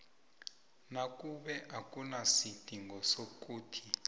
nakube akunasidingo sokuthi